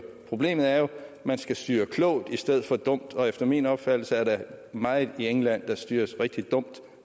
sagen er jo at man skal styre klogt i stedet for dumt og efter min opfattelse er der meget i england der styres rigtig dumt